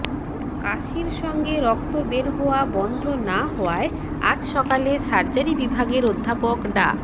কাশির সাথে রক্ত বের হওয়া বন্ধ না হওয়ায় আজ সকালে সার্জারি বিভাগের অধ্যাপক ডা